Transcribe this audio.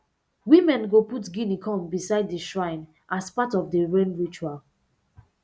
women go put guinea corn beside the shrine as part of the rain ritual